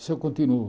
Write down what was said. Isso eu continuo.